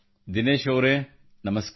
ದಿನೇಶ್ ಅವರೆ ನಮಸ್ಕಾರ